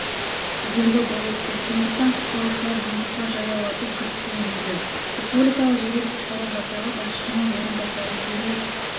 кедергі болып тұр сондықтан құтқарушылар жұмысқа жаяулатып кіріскен дейді республикалық жедел-құтқару жасағы басшысының орынбасары юрий